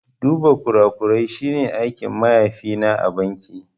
Duba kurakurai shi ne aikin mahaifi na a banki